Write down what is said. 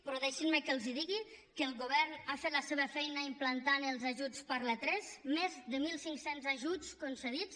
però deixin me que els digui que el govern ha fet la seva feina implantant els ajuts per l’a3 més de mil cinc cents ajuts concedits